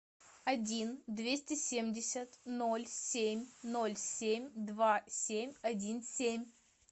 один двести семьдесят ноль семь ноль семь два семь один семь